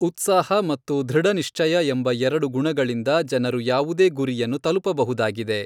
ಉತ್ಸಾಹ ಮತ್ತು ಧೃಡನಿಶ್ಚಯ ಎಂಬ ಎರಡು ಗುಣಗಳಿಂದ ಜನರು ಯಾವುದೇ ಗುರಿಯನ್ನು ತಲುಪಬಹುದಾಗಿದೆ.